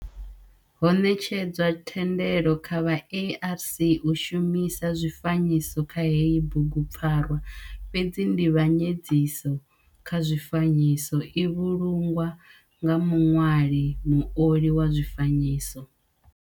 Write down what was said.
Ho netshedzwa thendelo kha vha ARC u shumisa zwifanyiso kha heyi bugupfarwa fhedzi ndivhanyedziso kha zwifanyiso i vhulungwa nga muṋwali muoli wa zwifanyiso.